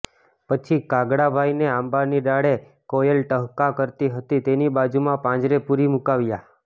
પછી કાગડાભાઈને આંબાની ડાળે કોયલ ટહુકા કરતી હતી તેની બાજુમાં પાંજરે પૂરી મૂકાવ્યા